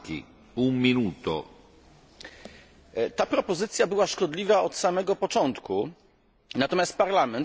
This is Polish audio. Ta propozycja była szkodliwa od samego początku, natomiast Parlament, jak to się często zdarza, chce ją jeszcze pogorszyć.